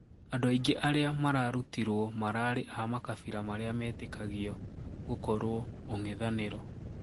Andũ aingĩ aaariamararûtirwo mararĩ aamakabira marĩa mĩĩtikagĩũ gũkũrwo ung'ithaniro